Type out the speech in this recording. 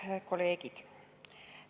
Head kolleegid!